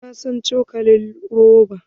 Ba na son cokalin roba!